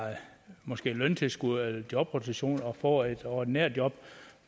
måske løntilskud eller jobrotation og får et ordinært job